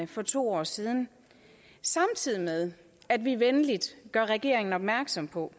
for to år siden samtidig med at vi venligt gør regeringen opmærksom på